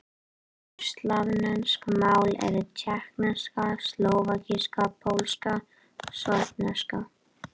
Vesturslavnesk mál eru: tékkneska, slóvakíska, pólska, sorbneska.